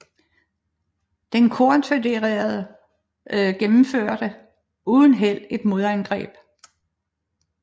De konfødererede gennemførte uden held et modangreb